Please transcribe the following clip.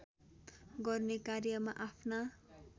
गर्ने कार्यमा आफ्ना